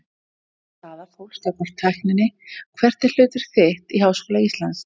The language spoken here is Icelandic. Misjöfn staða fólks gagnvart tækninni Hvert er hlutverk þitt í Háskóla Íslands?